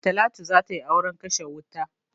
Talatu za ta yi auren kashe wuta.